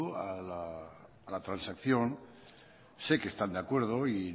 a la transacción sé que están de acuerdo y